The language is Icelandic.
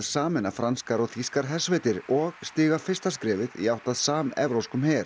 sameina franskar og þýskar hersveitir og stíga fyrsta skrefið í átt að samevrópskum her